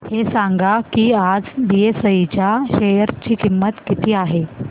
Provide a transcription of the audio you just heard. हे सांगा की आज बीएसई च्या शेअर ची किंमत किती आहे